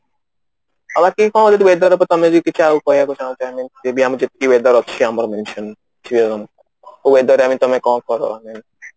କି କଣ ଯଦି weather ଉପରେ ତମେ ଯଦି କିଛି ଆଉ କହିବାକୁ ଚାହୁଁଚ I mean weather ଅଛି ଆମର kau weather ରେ I mean ତମେ କଣ କର I mean